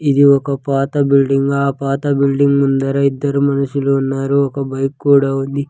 ఇది ఒక పాత బిల్డింగ్ ఆ పాత బిల్డింగ్ ముందర ఇద్దరు మనుషులు ఉన్నారు ఒక బైక్ కూడా ఉంది.